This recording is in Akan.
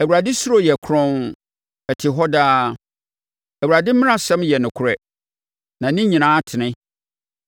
Awurade suro yɛ kronn, ɛte hɔ daa. Awurade mmaransɛm yɛ nokorɛ na ne nyinaa tene.